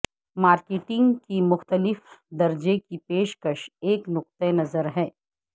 marketing کے مختلف درجے کی پیشکش ایک نقطہ نظر ہے